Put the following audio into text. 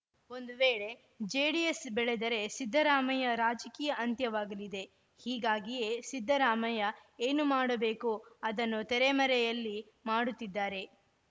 ಒಂದು ವೇಳೆ ಜೆಡಿಎಸ್‌ ಬೆಳೆದರೆ ಸಿದ್ದರಾಮಯ್ಯ ರಾಜಕೀಯ ಅಂತ್ಯವಾಗಲಿದೆ ಹೀಗಾಗಿಯೇ ಸಿದ್ದರಾಮಯ್ಯ ಏನು ಮಾಡಬೇಕೋ ಅದನ್ನು ತೆರೆಮರೆಯಲ್ಲಿ ಮಾಡುತ್ತಿದ್ದಾರೆ